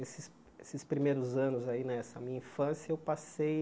Esses esses primeiros anos aí, nessa minha infância, eu passei...